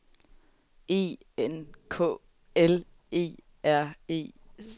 E N K L E R E